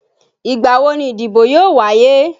Ìgbà wo ni ìdìbò yóò wáyé?